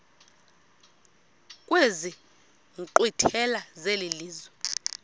kwezi nkqwithela zelizwe